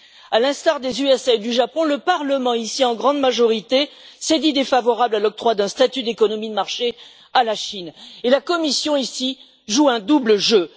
À l'instar des États Unis et du Japon, le Parlement, ici, en grande majorité s'est dit défavorable à l'octroi d'un statut d'économie de marché à la Chine, et la Commission, ici, joue un double jeu.